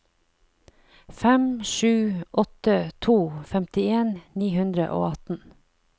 fem sju åtte to femtien ni hundre og atten